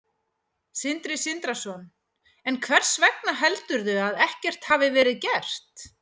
Sindri Sindrason: En hvers vegna heldurðu að ekkert hafi verið gert?